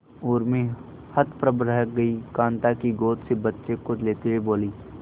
उर्मी हतप्रभ रह गई कांता की गोद से बच्चे को लेते हुए बोली